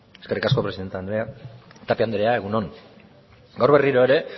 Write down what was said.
eskerrik asko presidente andrea tapia andrea egun on gaur berriro ere